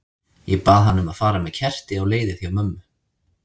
Ég bað hana um að fara með kerti á leiðið hjá mömmu.